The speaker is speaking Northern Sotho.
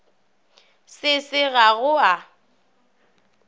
se se ga go a